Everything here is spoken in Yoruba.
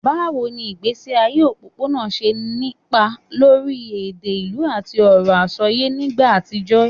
Báwo ni ìgbésí ayé òpópónà ṣe nípa lórí èdè ìlú àti ọ̀rọ̀ àsọyé nígbà àtijọ́?